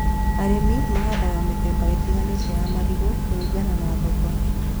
Arĩmi mahandaga mĩthemba ĩtĩganĩte ya marigũ kũringana na thoko